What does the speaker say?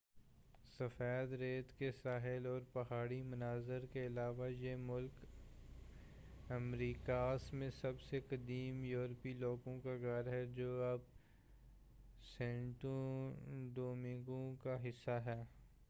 سفید ریت کے ساحل اور پہاڑی مناظر کے علاوہ یہ ملک امریکاس میں سب سے قدیم یوروپی لوگوں کا گھر ہے جو اب سینٹو ڈومینگو کا حصّہ ہے